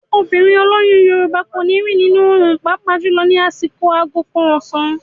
Obìnrin olóyún Yorùbá kò ní rìn nínú òòrùn pàápàá jùlọ ní àsìkò aago kan ọ̀sán.